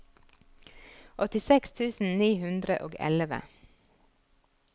åttiseks tusen ni hundre og elleve